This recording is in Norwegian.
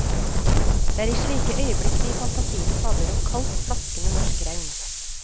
Det er i slike øyeblikk vi i fantasien fabler om kaldt, plaskende norsk regn.